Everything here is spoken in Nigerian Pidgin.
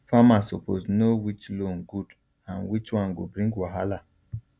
farmer suppose know which loan good and which one go bring wahala